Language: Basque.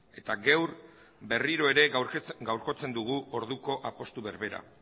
eta gaur ere berriro gaurkotzen dugu orduko apustu berbera